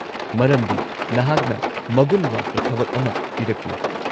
-ꯃꯔꯝꯗꯤ ꯅꯍꯥꯛꯅ ꯃꯒꯨꯟ ꯋꯥꯠꯄ ꯊꯕꯛ ꯑꯃ ꯄꯤꯔꯛꯂꯤ꯫